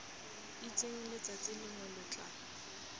itseng letsatsi lengwe lo tla